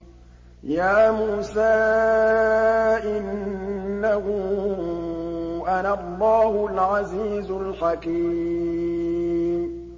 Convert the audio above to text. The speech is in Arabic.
يَا مُوسَىٰ إِنَّهُ أَنَا اللَّهُ الْعَزِيزُ الْحَكِيمُ